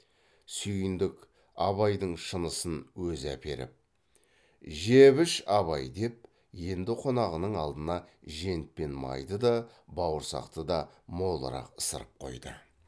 сүйіндік абайдың шынысын өзі әперіп жеп іш абай деп енді қонағының алдына жент пен майды да бауырсақты да молырақ ысырып қойды